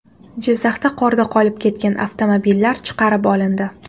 Jizzaxda qorda qolib ketgan avtomobillar chiqarib olindi.